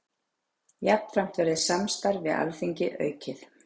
Jafnframt verði samstarf við Alþingi aukið